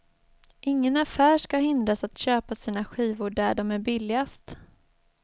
Ingen affär ska hindras att köpa sina skivor där de är billigast.